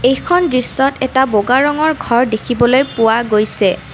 এইখন দৃশ্যত এটা বগা ৰঙৰ ঘৰ দেখিবলৈ পোৱা গৈছে।